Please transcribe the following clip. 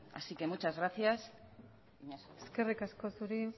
así que muchas gracias eskerrik asko zuri